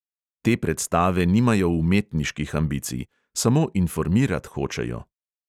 Te predstave nimajo umetniških ambicij, samo informirat hočejo.